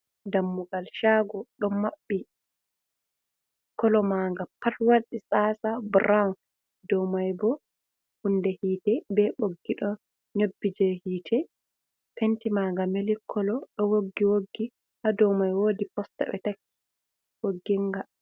Dammugal shago ɗo maɓɓi, kolo ma nga pat wadi tsatsa burawun, do mai bo hunde hite ɓe ɓoggi ɗo nyoɓɓi je hite, penti ma nga mili kolo, ɗo woggi woggi ha douvmai woodi posta ɓe takki woggi nga.